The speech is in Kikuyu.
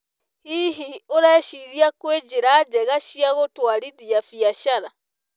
Hihi, ũreciria kwĩna njĩra njega cia gũtũarithia biacara?